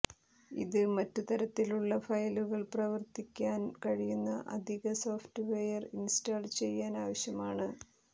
ഇത് മറ്റു തരത്തിലുള്ള ഫയലുകൾ പ്രവർത്തിക്കാൻ കഴിയുന്ന അധിക സോഫ്റ്റ്വെയർ ഇൻസ്റ്റാൾ ചെയ്യാൻ ആവശ്യമാണ്